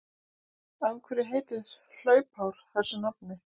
Af hverju heitir hlaupár þessu nafni?